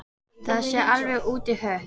Það sé alveg út í hött